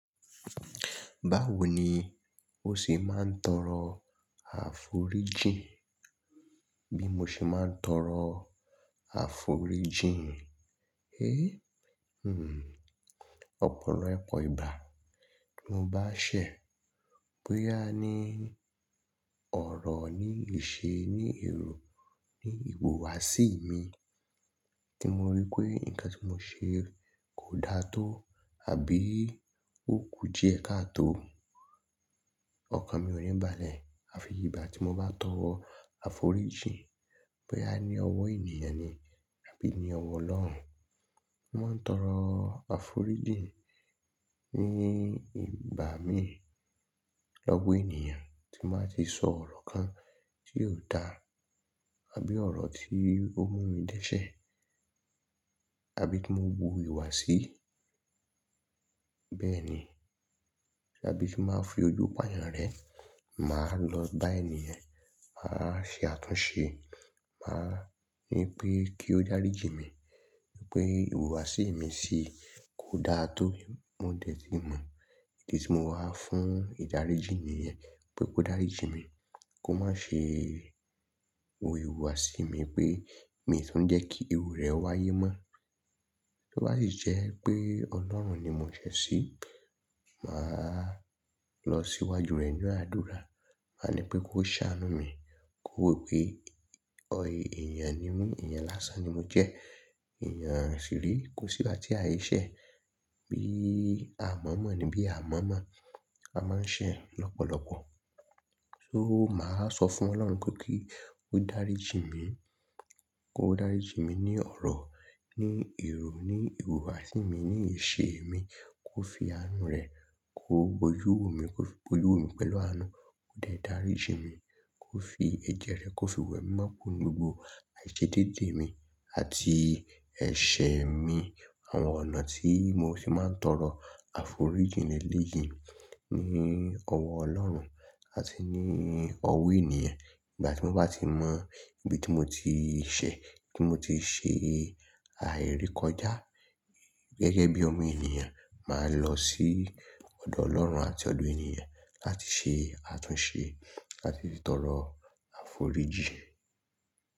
Báwo ni ó ṣe máa ń tọrọ àforíjìì? Bí mo ṣe máa ń tọrọ àforíjìn? Hé! Hmmm. Ọ̀pọ̀lọpọ̀ ìgbà tí mo bá ṣẹ̀, bóyá ní ọ̀rọ̀, ní ìṣe, ní èrò, ní ìhùwàsí mi tí mo rí pé nǹkan tí mo ṣe kò da tó àbí ó kù díẹ̀ ká tó. Ọkàn mi ò níbalẹ̀. Àfi ìgbà tí mo bá tọrọ àforíjìì, bóyá ní ọwọ́ ènìyàn ni àbí ní ọwọ́ Ọlọ́run. Mo máa ń tọrọ àforíjìì ní ìgbá mi lọ́wọ́ ènìyàn tí mbáa ti sọ ọ̀rọ̀ kan tí óò da àbí ọ̀rọ̀ tí ó mú mi dẹ́ṣẹ̀ àbí tí mo hu ìwà sí. Bẹ́ẹ̀ ni. Àbí tí mbáa fi ojú pàyàn rẹ̀, màá lọ bá ènìyẹ́n, màá ṣe àtúnṣe, màá ní pé kí ó dáríjì mí wípé ìhùwàsí mi sí i kò daa tó. Mo dẹ̀ tí mọ ìdí tí mo wá fún ìdáríjì nìyẹ́n pé kó dáríjì mí, kó má ṣe wo ìhùwàsí mi pé mi tuń jẹ́ kí iru rẹ̀ wáyé mọ́. Tóbàási jẹ́ pé Ọlọ́run ni mo ṣẹ̀ sí, màá lọ síwájú rẹ̀ nínu àdúrà, màá ní pé kó ṣáánú mi, kó wò pé ènìyàn ni mí, ènìyàn lásán ni mo jẹ́, ènìyàn ṣíre kò sí gbá ti àì ṣẹ̀. Bí a mọ̀ mọ̀n ni bí a mọ̀ mọ̀, a máa ń ṣẹ̀ lọ́pọ̀lọpọ̀. So màá sọ fún Ọlọ́run kó kí ó dáríjì mí, kó dáríjì mí ní ọ̀rọ̀, ní èrò, ní ìhùwàsí mi, ní ìṣe mi, kó fi àánú rẹ̀ kó boyúwo mi, kó fi bojúwo mi pẹ̀lú àánú, kó dẹ̀ dáríjì mí, kó fi ẹ̀jẹ́ rẹ̀ kó fi wẹ̀mimo kùro ninù gbogbo àìṣedéédé mi àti ẹ̀ṣẹ̀ mi. Àwọn ọ̀nà tí mo ṣe máa ń tọrọ àforíjìì ní elé yìí ni ọwọ́ Ọlọ́run àti ní ọwọ́ ènìyàn. Ìgbà tí mo bá ti mọ ibi tí mo ti ṣẹ̀, ibi tí mo ti ṣe àìrekọjá gẹ́gẹ́ bí ọmọ ènìyàn, màá lọ sí ọ̀dọ̀ Ọlọ́run àti ọ̀dọ̀ ènìyẹ̀n láti ṣe àtúnṣe láti tọrọ àforíjìì.